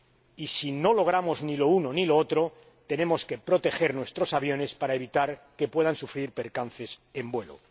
Y si no logramos ni lo uno ni lo otro, tenemos que proteger nuestros aviones para evitar que puedan sufrir percances en vuelo.